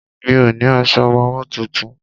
Mi ò ní aṣọ ọmọwọ́ tuntun.